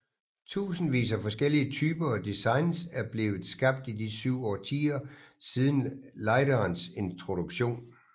Tusindvis af forskellige typer og designs er blevet skabt i de 7 årtier siden lighterens introduktion